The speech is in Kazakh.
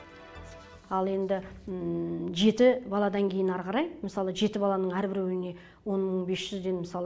ал енді жеті баладан кейін ары қарай мысалы жеті баланың әрбіреуіне он мың бес жүзден мысалы